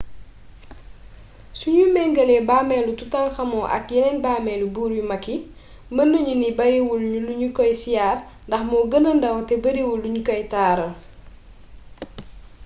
suñuy méngale bàmmeelu toutankhamon ak yeneen bàmmeeli buur yu mag yi mën nañu ni bariwul luñu koy siyaar ndax moo gëna ndaw te bariwul luñu ko taaral